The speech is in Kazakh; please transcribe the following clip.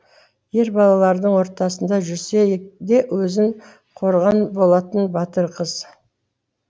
ер балалардың ортасында жүрседе өзін қорған болатын батыр қыз